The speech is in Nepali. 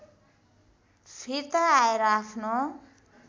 फिर्ता आएर आफ्नो